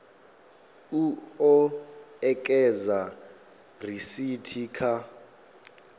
u o ekedza risithi kha